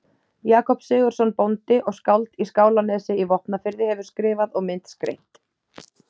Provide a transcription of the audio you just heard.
Jakob Sigurðsson bóndi og skáld í Skálanesi í Vopnafirði hefur skrifað og myndskreytt.